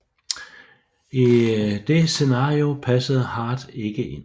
I det scenario passede Hart ikke ind